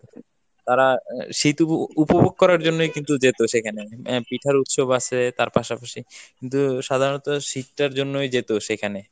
তারা শীত উপ~ উপভোগ করার জন্যই কিন্তু যেত সেখানে আহ পিঠার উৎসব আছে তার পাশাপাশি কিন্তু সাধারনত শীতটার জন্যই যেত সেখানে।